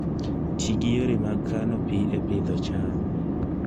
Ti gi yore mag kano pi e Pidhoo cham